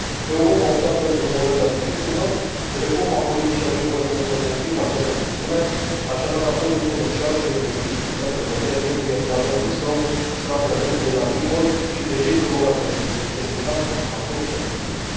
Europa a optat pentru un model de agricultură, reforma politicii agricole comune confirmă această opțiune, așadar acordul comercial și de investiții cu Statele Unite trebuie, la rândul său, să apere acest model agricol și pe cei cărora le este destinat consumatori și agricultori.